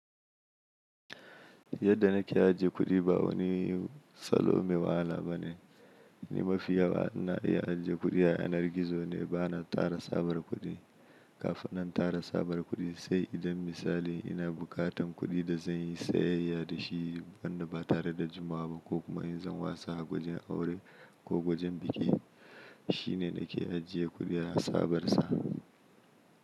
Yadda na ke ajiye kuɗi ba wani salo mai wahala bane. Ni mafi yawa ina iya ajiye kuɗi a yanar gizo ne bana tara sabar kuɗi. Kafin na tara sabar kuɗi, sai idan misali ina bukatan kuɗi da zan yi sayayya da shi, wanda ba tare da jimawa ba ko kuma in zan wasa a wajen aure ko wajen biki, shine na ke ajiye kuɗi a sabarsa.